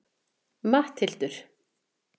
Matthildur